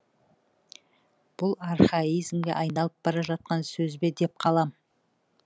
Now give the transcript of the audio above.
бұл архаизмге айналып бара жатқан сөз бе деп қалам